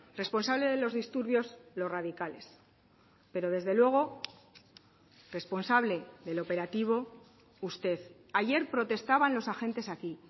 responsable de los disturbios los radicales pero desde luego responsable del operativo usted ayer protestaban los agentes aquí